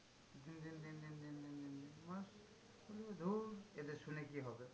দিন দিন দিন দিন দিন দিন দিন দিন দু মাস, বলবে ধুর এদের শুনে কি হবে?